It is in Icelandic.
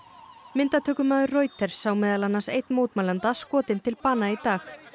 myndatökumaður Reuters sá meðal annars einn mótmælanda skotinn til bana í dag